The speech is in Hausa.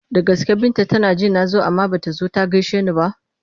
Da gaske Binta tana ji na zo amma ba ta zo ta gaishe ni ba?